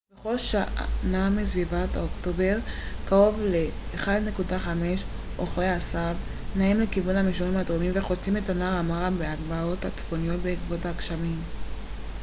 בכל שנה בסביבות אוקטובר קרוב ל-1.5 אוכלי עשב נעים לכיוון המישורים הדרומיים וחוצים את נהר המארה מהגבעות הצפוניות בעקבות הגשמים